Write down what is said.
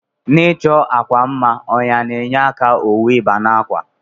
Na ichọ akwa mma ọnya na enye aka owu iba n'akwa.